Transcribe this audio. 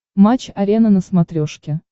матч арена на смотрешке